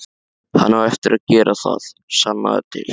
Hann á eftir að gera það, sannaðu til.